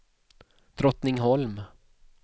Drottningholm